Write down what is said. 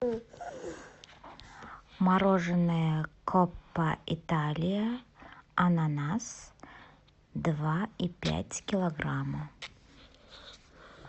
мороженое коппа италия ананас два и пять килограмма